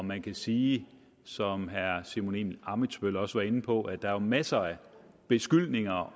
man kan sige som herre simon emil ammitzbøll også var inde på at der jo er masser af beskyldninger